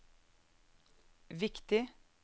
viktig